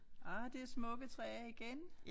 Ah det smukke træer igen